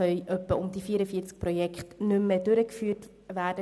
Ungefähr 44 Projekte können nicht mehr durchgeführt werden.